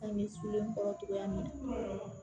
A ɲɛ sulen kɔrɔ togoya min na